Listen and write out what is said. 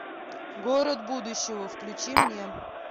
город будущего включи мне